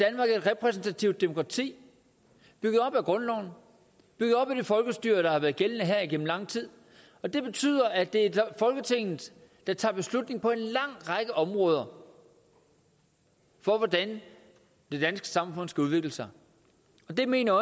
repræsentativt demokrati bygget op af grundloven bygget op af det folkestyre der har været gældende her igennem lang tid og det betyder at det er folketinget der tager beslutning på en lang række områder for hvordan det danske samfund skal udvikle sig og det mener